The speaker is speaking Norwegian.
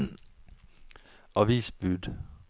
avisbud